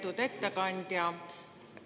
Lugupeetud ettekandja!